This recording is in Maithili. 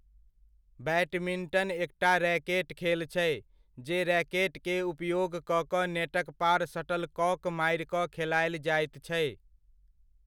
बैडमिंटन एकटा रैकेट खेल छै, जे रैकेट के उपयोग कऽ कऽ नेटक पार शटलकॉक मारि कऽ खेलायल जाइत छै।